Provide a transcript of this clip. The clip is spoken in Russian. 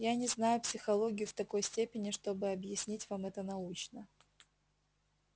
я не знаю психологию в такой степени чтобы объяснить вам это научно